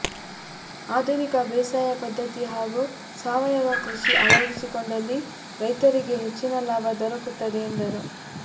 ಆಧುನಿಕ ಬೇಸಾಯ ಪದ್ದತಿ ಹಾಗೂ ಸಾವಯವ ಕೃಷಿ ಅಳವಡಿಸಿಕೊಂಡಲ್ಲಿ ರೈತರಿಗೆ ಹೆಚ್ಚಿನ ಲಾಭ ದೊರಕುತ್ತದೆ ಎಂದರು